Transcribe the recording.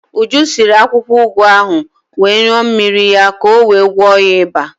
Uju siri akwukwo ụgụ ahụ wee ṅuọ mmiri ya ka o wee gwọọ ya iba.